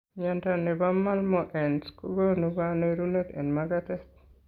Miondo nebo malmoense kogonu kanerunet en magatet